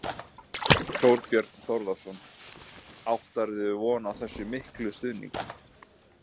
Þorbjörn Þórðarson: Áttirðu von á þessum mikla stuðningi?